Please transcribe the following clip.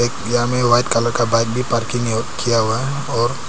यहां में white colour का बाइक भी पार्किंग है किया हुआ है और--